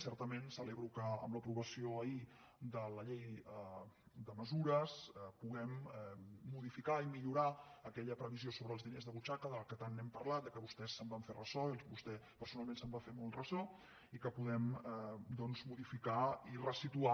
certament celebro que amb l’aprovació ahir de la llei de mesures puguem modificar i millorar aquella previsió sobre els diners de butxaca de què tant hem parlat de què vostès es van fer ressò i vostè personalment se’n va fer molt ressò i que puguem doncs modificar i ressituar